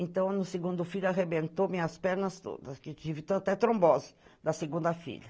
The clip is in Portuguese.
Então, no segundo filho arrebentou minhas pernas todas, que tive até trombose da segunda filha.